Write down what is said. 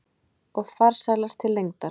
Og farsælast til lengdar.